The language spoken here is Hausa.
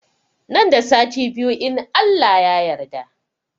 Nan da sati biyu in Allah ya yarda